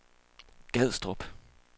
Gadstrup